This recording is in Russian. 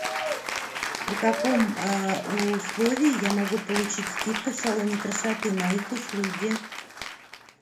при каком условии я могу получить скидку в салоне красоты на их услуги